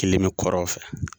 Kelen me kɔrɔn fɛ.